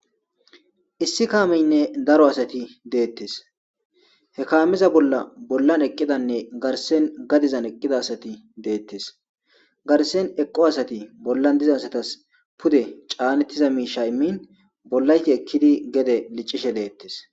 issi kaameynne daro asati deettes he kaamiza bolla bollan eqqidanne garsen gadizan eqqida asati deettes garsen eqqo asati bollan diza asatas pude caanettiza miisha immin bollayti ekkidi gede liccishe deettes